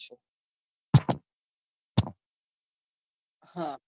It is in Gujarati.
હા